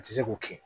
Ti se k'o kɛ